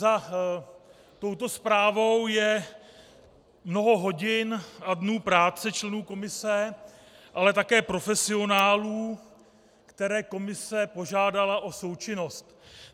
Za touto zprávou je mnoho hodin a dnů práce členů komise, ale také profesionálů, které komise požádala o součinnost.